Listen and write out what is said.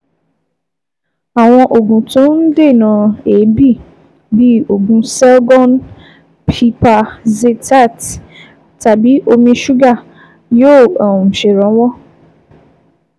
Àwọn oògùn tó ń dènà èébì bí oògùn Selgon (Pipazethate) tàbí omi ṣúgà yóò um ṣèrànwọ́